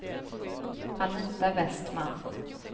Anita Vestman